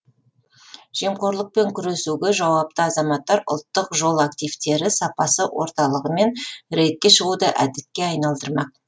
жемқорлықпен күресуге жауапты азаматтар ұлттық жол активтері сапасы орталығымен рейдке шығуды әдетке айналдырмақ